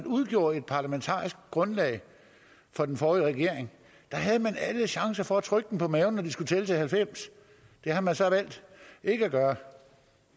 udgjorde et parlamentarisk grundlag for den forrige regering havde man alle chancer for at trykke dem på maven når de skulle tælle til halvfems det har man så valgt ikke at gøre